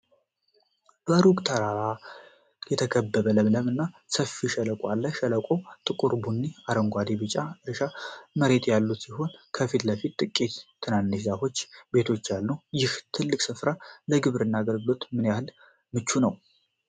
በሩቅ ተራሮች የተከበበ ለምለም እና ሰፊ ሸለቆ አለ። ሸለቆው ጥቁር ቡኒ፣ አረንጓዴና ቢጫ የእርሻ መሬቶች ያሉት ሲሆን፣ ከፊት ለፊት ጥቂት ትናንሽ ዛፎች እና ቤቶች አሉ። ይህ ትልቅ ስፍራ ለግብርና አገልግሎት ምን ያህል ምቹ ነው?